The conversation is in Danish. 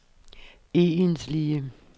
egentlige